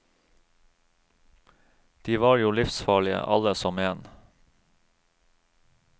De var jo livsfarlige, alle som en.